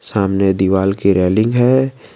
सामने दीवाल के रेलिंग है।